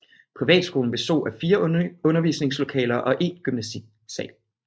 Privatskolen bestod af fire undervisningslokaler og en gymnastiksal